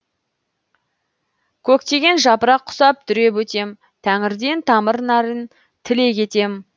көктеген жапырақ құсап дүреп өтем тәңірден тамыр нәрін тілек етем